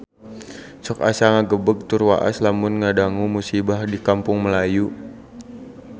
Sok asa ngagebeg tur waas lamun ngadangu musibah di Kampung Melayu